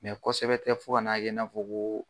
Mɛ kosɛbɛ tɛ fo kan'a ye i n'a fɔ ko